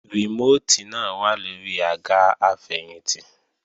Rìmóòtì náà wà lóri àga àfẹ̀yìntì